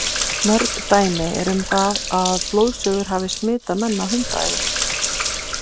Mörg dæmi eru um það að blóðsugur hafi smitað menn af hundaæði.